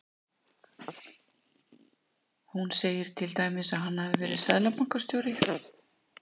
Hún segir til dæmis að hann hafi verið seðlabankastjóri.